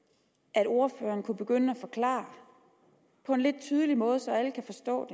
at ordføreren kunne begynde at forklare på en tydelig måde så alle kan forstå